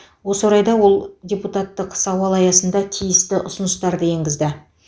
осы орайда ол депутаттық сауал аясында тиісті ұсыныстарды енгізді